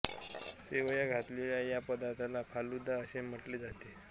शेवया घातलेल्या या पदार्थाला फालुदा असे म्हटले जाते